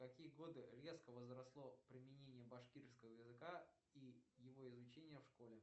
в какие годы резко возросло применение башкирского языка и его изучение в школе